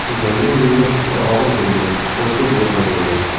O‘shanda menga juda og‘ir bo‘lgan: juda ko‘p yig‘laganman.